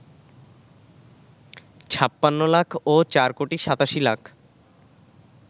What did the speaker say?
৫৬ লাখ ও ৪ কোটি ৮৭ লাখ